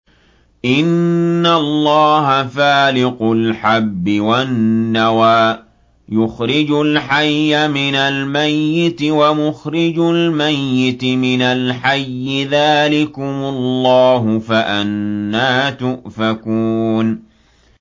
۞ إِنَّ اللَّهَ فَالِقُ الْحَبِّ وَالنَّوَىٰ ۖ يُخْرِجُ الْحَيَّ مِنَ الْمَيِّتِ وَمُخْرِجُ الْمَيِّتِ مِنَ الْحَيِّ ۚ ذَٰلِكُمُ اللَّهُ ۖ فَأَنَّىٰ تُؤْفَكُونَ